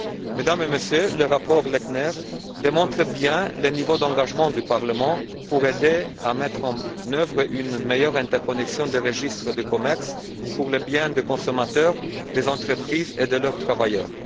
Mesdames et Messieurs, le rapport Lechner démontre bien le niveau d'engagement du Parlement pour aider à mettre en œuvre une meilleure interconnexion des registres de commerce pour le bien des consommateurs, des entreprises et de leurs travailleurs.